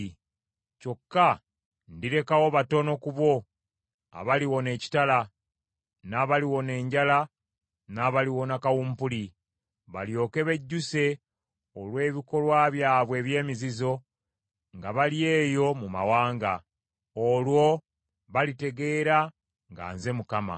Kyokka ndirekawo batono ku bo abaliwona ekitala, n’abaliwona enjala n’abaliwona kawumpuli, balyoke bejjuse olw’ebikolwa byabwe eby’emizizo, nga bali eyo mu mawanga. Olwo balitegeera nga nze Mukama .”